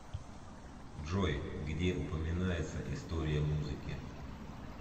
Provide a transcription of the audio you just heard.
джой где упоминается история музыки